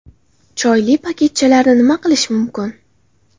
Choyli paketchalarni nima qilish mumkin?